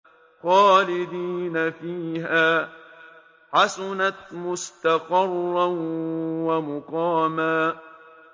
خَالِدِينَ فِيهَا ۚ حَسُنَتْ مُسْتَقَرًّا وَمُقَامًا